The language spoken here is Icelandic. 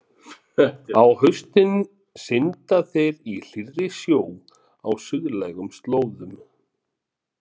Á haustin synda þeir í hlýrri sjó á suðlægum slóðum.